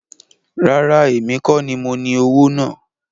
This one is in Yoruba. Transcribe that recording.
Rárá, èmi kọ́ ní mo ní owó náà